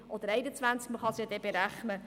Man kann es ja dann berechnen.